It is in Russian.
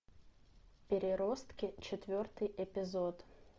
переростки четвертый эпизод